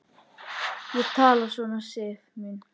Ekki tala svona, Sif mín!